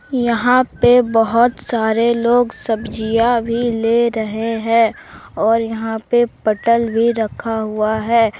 यहाँ पर बहुत सारे लोग सब्जियां भी ले रहे हैं और यहाँ पर पटल भी रखा हुआ है।